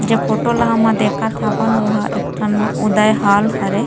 जे फोटो ल हम देखत हवन ओ हा एक ठन उदय हॉल हरे --